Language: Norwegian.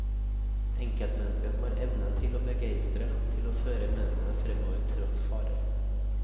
Enkeltmenneske som har evnen til å begeistre, til å føre menneskene fremover tross farer.